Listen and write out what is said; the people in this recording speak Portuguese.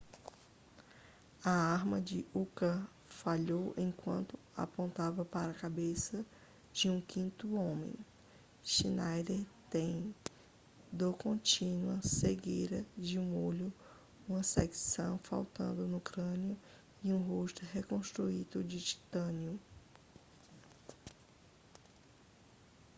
a arma de uka falhou enquanto apontava para a cabeça de um quinto homem schneider tem dor contínua cegueira de um olho uma seção faltando no crânio e um rosto reconstruído em titânio